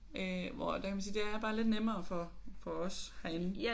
Øh hvor der kan man sige det er bare lidt nemmere for for os herinde